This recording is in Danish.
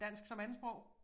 Dansk som andetsprog?